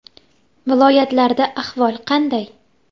Viloyatlarda ahvol qanday?